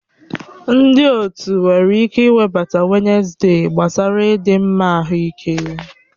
Ndị otu nwere ike iwebata Wednesde gbasara ịdị mma ahụike.